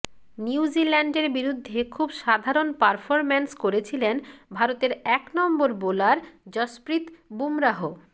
নিউজিল্যান্ডের বিরুদ্ধে খুব সাধারণ পারফরম্যান্স করেছিলেন ভারতের এক নম্বর বোলার যশপ্রীত বুমরাহ